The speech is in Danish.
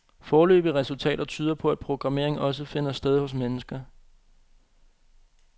Foreløbige resultater tyder på, at programmering også finder sted hos mennesker.